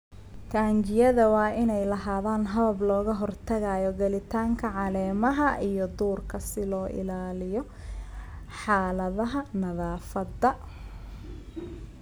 Taangiyada waa inay lahaadaan habab looga hortagayo gelitaanka caleemaha iyo duurka si loo ilaaliyo xaaladaha nadaafadda.